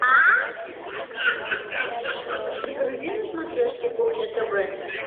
загрузи на смотрешке кухня тв